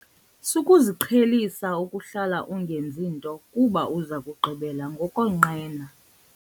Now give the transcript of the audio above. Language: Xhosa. Sukuziqhelisa ukuhlala ungenzi nto kuba uza kugqibela ngokonqena.